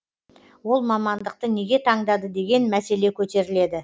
ол мамандықты неге таңдады деген мәселе көтеріледі